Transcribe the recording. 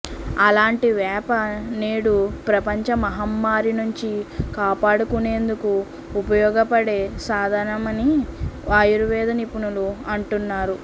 అలాంటి వేప నేడు ప్రపంచ మహమ్మారి నుంచి కాపాడుకునేందుకు ఉపయోగపడే సాధనమని ఆయుర్వేద నిపుణులు అంటున్నారు